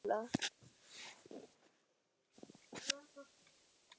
Svo fór hann að mála.